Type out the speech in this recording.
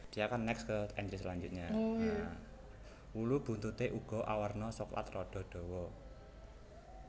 Wulu buntuté uga awarna soklat rada dawa